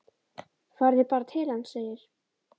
Farið þið bara til hans, segir